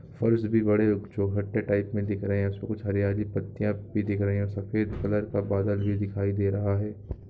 फर्श भी बड़े चौकट के टाइप मे दिख रहे है उसपे कुछ हरियाली पत्तियां भी दिख रही है सफेद कलर का बादल भी दिखाई दे रहा है।